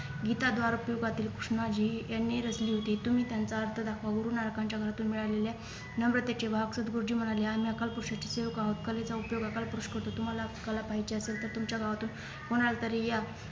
गीता द्वारकृपातील कृष्णजी यांनी रचली होती तुम्ही त्यांचा अर्थ दाखवा गुरुनानकांच्या घरातून मिळालेल्या नम्रतेचे वाहक सद्गुरुजी म्हणाले आम्ही अकाल पुरुषाचे सेवक आहोत कलेचा उपयोग अकाल पुरुष करतो तुम्हाला कला पाहीची असेल तर तुमच्या गावातुन कोणालातरी या